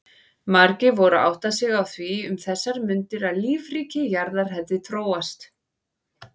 Margir voru að átta sig á því um þessar mundir að lífríki jarðar hefði þróast.